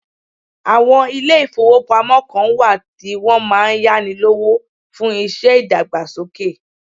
Àwọn ilé ìfọwọ́pamo kàn wá tí wọn máà ń yáni lówó fún iṣẹ́ ìdàgbàsókè.